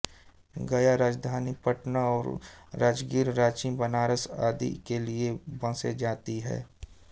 गया राजधानी पटना और राजगीर रांची बनारस आदि के लिए बसें जाती हैं